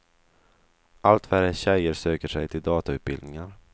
Allt färre tjejer söker sig till datautbildningar.